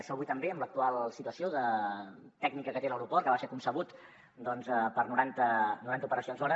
això avui també en l’ac·tual situació tècnica que té l’aeroport que va ser concebut per a noranta operacions hora